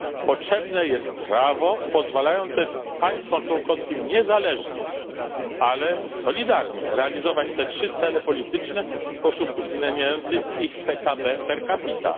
Potrzebne jest prawo pozwalające państwom członkowskim niezależnie, ale solidarnie, realizować te trzy cele polityczne w sposób uwzględniający ich PKB per capita.